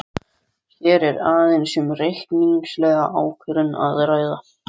Hér er aðeins um reikningslega ákvörðun að ræða.